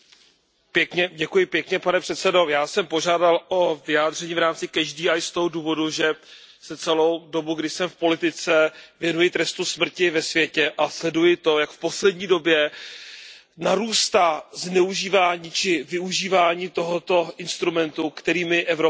Pane předsedající, já jsem požádal o vyjádření v rámci z toho důvodu, že se celou dobu, kdy jsem v politice, věnuji trestu smrti ve světě a sleduji to, jak v poslední době narůstá zneužívání či využívání tohoto instrumentu, který my Evropané absolutně odmítáme.